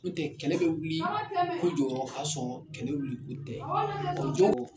N'o tɛ kɛlɛ bɛ wuli ko jɔyɔrɔ ka sɔrɔ kɛlɛ wuli o tɛ jɔw